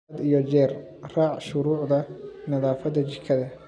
Had iyo jeer raac shuruucda nadaafadda jikada.